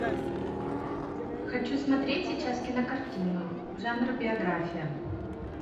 хочу смотреть сейчас кинокартину жанр биография